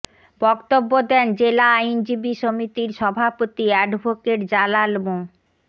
বক্তব্য দেন জেলা আইনজীবী সমিতির সভাপতি অ্যাডভোকেট জালাল মো